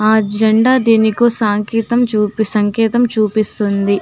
ఆ జెండా దేనికో సాకేతం సంకేతం చూపిస్తుంది